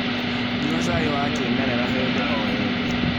nyua cai wa kĩmerera hĩndĩ o hĩndĩ